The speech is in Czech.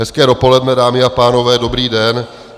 Hezké dopoledne, dámy a pánové, dobrý den.